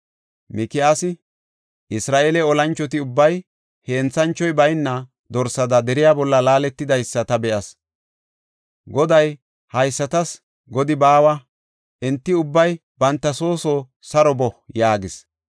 Mikiyaasi, “Isra7eele olanchoti ubbay henthanchoy bayna dorsada deriya bolla laaletidaysa ta be7as. Goday, ‘Haysatas godi baawa. Enti ubbay banta soo soo saro boo’ ” yaagis.